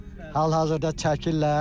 Hal-hazırda çəkirlər.